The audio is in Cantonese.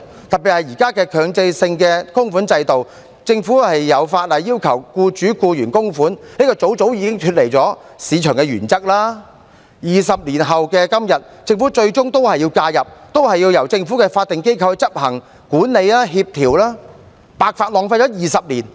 就現在的強制性供款制度，政府有法例要求僱主、僱員供款，這便早早已經脫離市場的原則；而在20年後的今天，政府最終也要介入，仍然要由政府的法定機構執行管理和協調，白白浪費了20年。